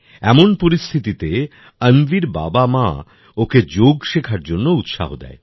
এমন পরিস্থিতিতে অন্বির বাবামা ওকে যোগ শেখার জন্য উৎসাহ দেয়